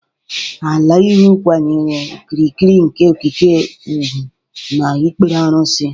Aliyu kwanyere okirikiri nke okike ugwu na ikpere arụsị.